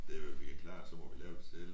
Det hvad vi kan klare så m¨vi lave det selv